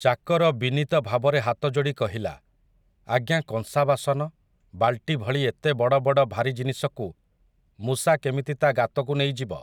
ଚାକର ବିନୀତ ଭାବରେ ହାତଯୋଡ଼ି କହିଲା, ଆଜ୍ଞା କଂସା ବାସନ, ବାଲ୍ଟି ଭଳି ଏତେ ବଡ଼ ବଡ଼ ଭାରି ଜିନିଷକୁ ମୂଷା କେମିତି ତା' ଗାତକୁ ନେଇଯିବ ।